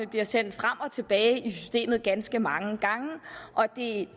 bliver sendt frem og tilbage i systemet ganske mange gange og det